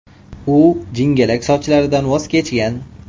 U jingalak sochlaridan voz kechgan.